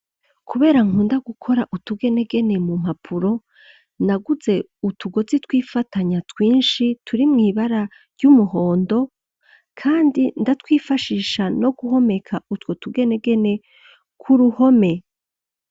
kubera nkunda gukora utugenegene mu mpapuro, naguze utugozi twifatanya twinshi turi mwibara ry'umuhondo kandi ndatwifashisha no guhomeka utwo tugenegene k'uruhome.